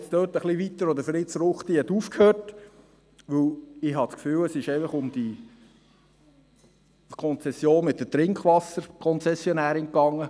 Ich bohre jetzt dort ein bisschen weiter, wo Fritz Ruchti aufgehört hat, denn ich habe das Gefühl, dass es einfach um diese Konzession mit der Trinkwasserkonzessionärin ging.